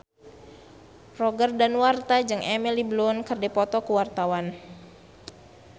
Roger Danuarta jeung Emily Blunt keur dipoto ku wartawan